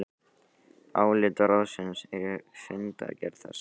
Álit ráðsins er í fundargerð þess